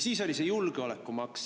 Siis oli see julgeolekumaks.